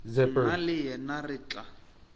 nna le yena re tla